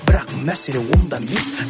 бірақ мәселе онда емес